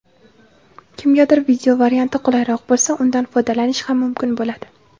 kimgadir video varianti qulayroq bo‘lsa undan foydalanish ham mumkin bo‘ladi.